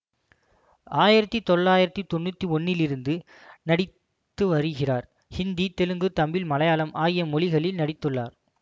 ஆயிரத்தி தொள்ளாயிரத்தி தொன்னூற்தி ஒன்றிலிருந்து நடித்து வருகிறார் ஹிந்தி தெலுங்கு தமிழ் மலையாளம் ஆகிய மொழிகளில் நடித்துள்ளார்